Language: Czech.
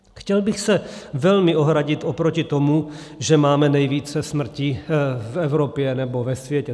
Chtěl bych se velmi ohradit oproti tomu, že máme nejvíce smrtí v Evropě nebo ve světě.